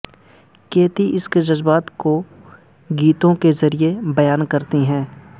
کیتی اس کے جذبات کو گیتوں کے ذریعہ بیان کرتی ہیں